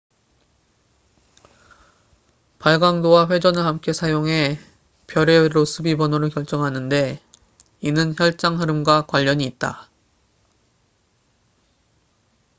발광도와 회전을 함께 사용해 별의 로스비 번호를 결정하는데 이는 혈장 흐름plasma flow과 관련이 있다